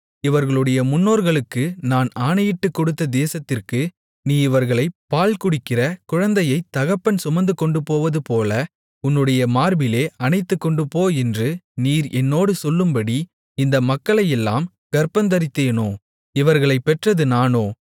இவர்களுடைய முன்னோர்களுக்கு நான் ஆணையிட்டுக்கொடுத்த தேசத்திற்கு நீ இவர்களை பால்குடிக்கிற குழந்தையைத் தகப்பன் சுமந்துகொண்டுபோவதுபோல உன்னுடைய மார்பிலே அணைத்துக்கொண்டுபோ என்று நீர் என்னோடு சொல்லும்படி இந்த மக்களையெல்லாம் கர்ப்பந்தரித்தேனோ இவர்களைப் பெற்றது நானோ